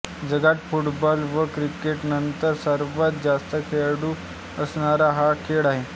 जगात फुटबॉल व क्रिकेटनंतर सर्वात जास्त खेळाडू असणारा हा खेळ आहे